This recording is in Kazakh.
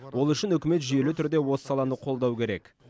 ол үшін үкімет жүйелі түрде осы саланы қолдау керек